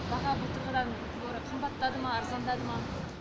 баға былтырғыдан гөрі қымбаттады ма арзандады ма